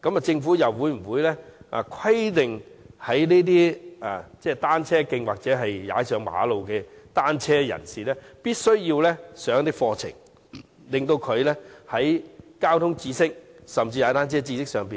政府會否規定在單車徑或馬路踏單車的人士必須完成一些課程，以提升他們的交通知識，甚至踏單車的知識？